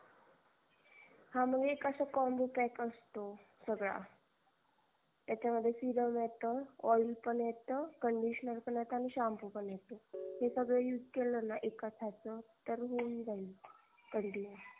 हा मग एक अस combo pack असतो सगळा त्याच्या मध्ये serum येत oil पण येत conditioner पण येत shampoo पण येत. हे सगळ use केलन एकाच ह्याच तर हून जाईल continue